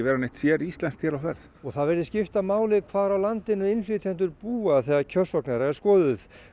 séríslenskt hér á ferð og það virðist skipta máli hvar á landinu innflytjendur búa þegar kjörsókn þeirra er skoðuð